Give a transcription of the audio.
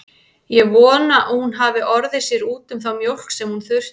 Ég vona að hún hafi orðið sér úti um þá mjólk sem hún þurfti.